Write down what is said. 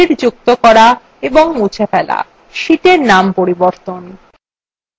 sheets যুক্ত করা ও মুছে ফেলা sheetsএর নাম পরিবর্তন